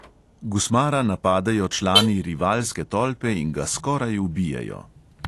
Gusmara napadejo člani rivalske tolpe in ga skoraj ubijejo.